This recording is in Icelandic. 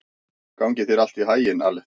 Gangi þér allt í haginn, Aletta.